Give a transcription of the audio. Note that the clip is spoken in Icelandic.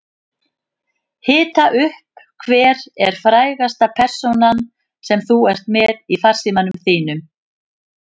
Hita upp Hver er frægasta persónan sem þú ert með í farsímanum þínum?